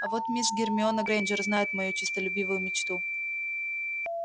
а вот мисс гермиона грэйнджер знает мою честолюбивую мечту